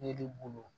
Ne de bolo